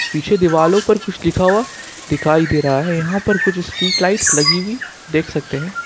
पीछे दीवारों पर कुछ लिखा हुआ दिखाई दे रहा है यहां पर कुछ स्ट्रीट लाइट लगी हुई देख सकते हैं।